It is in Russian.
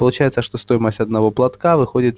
получается что стоимость одного платка выходит